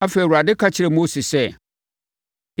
Afei, Awurade ka kyerɛɛ Mose sɛ,